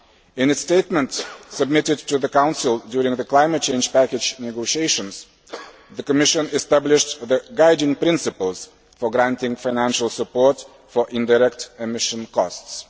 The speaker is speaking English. In its statement submitted to the Council during the climate change package negotiations, the Commission established the guiding principles for granting financial support for indirect emission costs.